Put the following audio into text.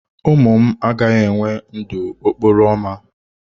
Ụmụ m agaghị enwe ndụ n'okporo ámá.